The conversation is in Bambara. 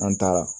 An taara